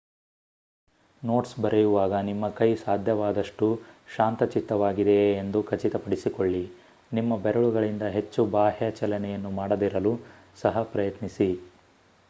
notes ಬರೆಯುವಾಗ ನಿಮ್ಮ ಕೈ ಸಾಧ್ಯವಾದಷ್ಟು ಶಾಂತಚಿತ್ತವಾಗಿದೆಯೇ ಎಂದು ಖಚಿತಪಡಿಸಿಕೊಳ್ಳಿ ನಿಮ್ಮ ಬೆರಳುಗಳಿಂದ ಹೆಚ್ಚು ಬಾಹ್ಯ ಚಲನೆಯನ್ನು ಮಾಡದಿರಲು ಸಹ ಪ್ರಯತ್ನಿಸಿ